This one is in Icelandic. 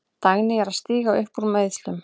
Dagný er að stíga upp úr meiðslum.